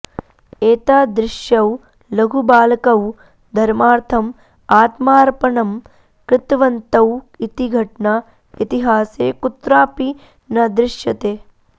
एतादृशौ लघुबालकौ धर्मार्थम् आत्मार्पणं कृतवन्तौ इति घटना इतिहासे कुत्रापि न दृश्यते